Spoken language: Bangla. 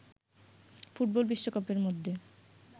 ফুটবল বিশ্বকাপের মধ্যে